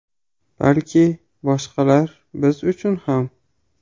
Balki boshqalar biz uchun ham.